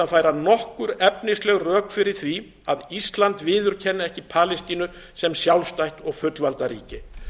færa nokkur efnisleg rök fyrir því að ísland viðurkenni ekki palestínu sem sjálfstætt og fullvalda ríki